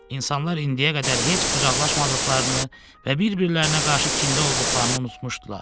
İnsanlar indiyə qədər heç qucaqlaşmadıqlarını və bir-birlərinə qarşı kinli olduqlarını unutmuşdular.